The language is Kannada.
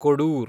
ಕೊಡೂರ್